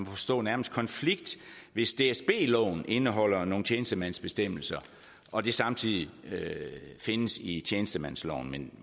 forstå nærmest konflikt hvis dsb loven indeholder nogle tjenestemandsbestemmelser og de samtidig findes i tjenestemandsloven men